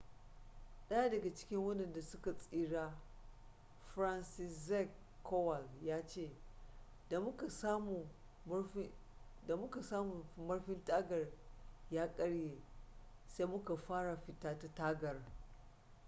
daya daga cikin wadanda su ka tsira franciszek kowal ya ce da muka samu murfin tagar ya karye sai muka fara fita ta tagar